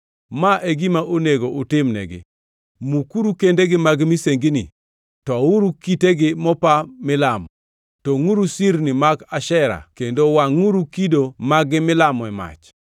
Ma e gima onego utimnegi: Mukuru kendegi mag misengini, touru kitegi mopa milamo, tongʼuru sirnigi mag Ashera kendo wangʼuru kido mag-gi milamo e mach.